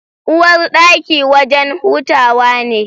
Uwarɗaki wajen hutawa ne